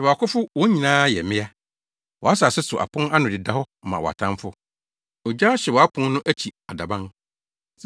Hwɛ wʼakofo wɔn nyinaa yɛ mmea! Wʼasase so apon ano deda hɔ ma wʼatamfo; ogya ahyew wʼapon no akyi adaban.